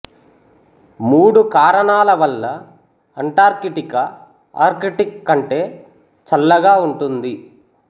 మూడు కారణాల వల్ల అంటార్కిటికా ఆర్కిటిక్ కంటే చల్లగా ఉంటుంది